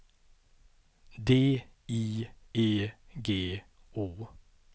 D I E G O